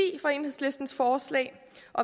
for enhedslistens forslag